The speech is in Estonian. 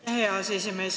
Aitäh, hea aseesimees!